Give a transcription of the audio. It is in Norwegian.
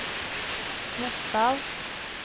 Gjesdal